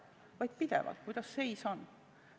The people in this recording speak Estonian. Ta vaatab pidevalt, kuidas seis on.